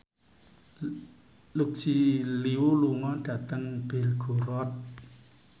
Lucy Liu lunga dhateng Belgorod